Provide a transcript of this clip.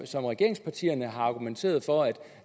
som regeringspartierne har argumenteret for